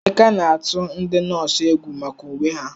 Emeka na-atụ ndị nọọsụ egwu maka uwe ha.